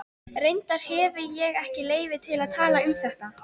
Reyndar hefi ég ekki leyfi til að tala um þetta.